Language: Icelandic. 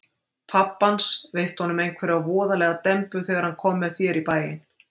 Pabbi hans veitti honum einhverja voðalega dembu þegar hann kom með þér í bæinn.